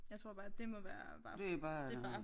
Jeg tror bare at det må være bare det bare